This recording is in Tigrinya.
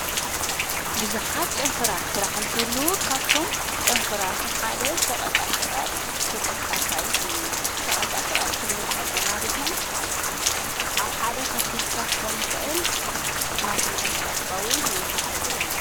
ብዙኃት ጨንፈራት ሥራሕ እንተሉ ካፍቶም ጨንፈራቱም ሓደ ሸቐጣ ሽቐጽ ተጠቃሳይ እዩ ሸቐጣ ሽቐጥ ክንብልኽለና ድማ ኣብ ሓደ ኽፊልካኾኒ ኽእል ናሰንቀሠቐስኻውን ናይምሓድ ዕድል ኣሎ።